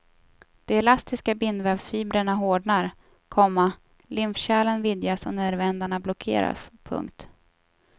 De elastiska bindvävsfibrerna hårdnar, komma lymfkärlen vidgas och nervändarna blockeras. punkt